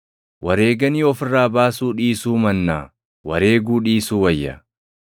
Wareeganii of irraa baasuu dhiisuu mannaa wareeguu dhiisuu wayya.